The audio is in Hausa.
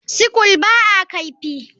Sickle ba a kaifi.